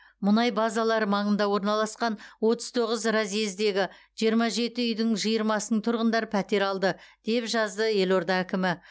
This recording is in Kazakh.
мұнай базалары маңында орналасқан отыз тоғыз разъездегі жиырма жеті үйдің жиырмасының тұрғындары пәтер алды деп жазды елорда әкімі